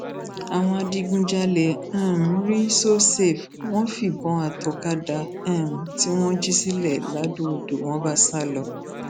àwọn adigunjalè um rí sosafe wọn fìbọn àtọkọdá um tí wọn jí sílẹ ladọodò wọn bá sá lọ